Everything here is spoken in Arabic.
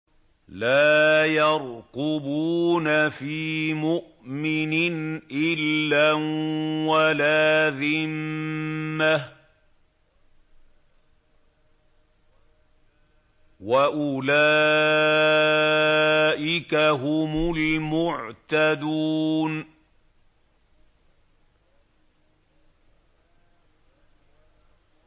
لَا يَرْقُبُونَ فِي مُؤْمِنٍ إِلًّا وَلَا ذِمَّةً ۚ وَأُولَٰئِكَ هُمُ الْمُعْتَدُونَ